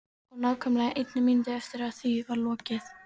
Og nákvæmlega einni mínútu eftir að því var lokið.